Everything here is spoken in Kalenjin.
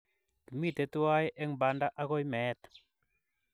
Kimite tuwai eng panda agoi meet